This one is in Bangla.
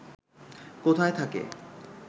কোথায় থাকে